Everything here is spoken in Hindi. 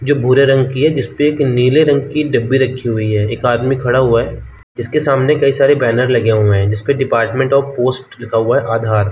जो भूरे रंग की है जिस पे एक नीले रंग की डिब्बे रखी हुई हैं एक आदमी खड़ा हुआ है जिसके सामने कई सारे बैनर लगे हुए हैं जिसके डिपार्टमेंट आफ पोस्ट लिखा हुआ है आधार ।